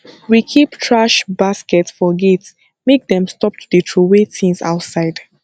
we keep thrash basket for gate make dem stop to dey troway tins outside